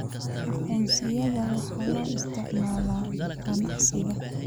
Aqoonsiyada waxaa loo isticmaalaa ganacsiga.